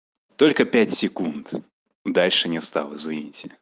только пять секунд дальше не стал извините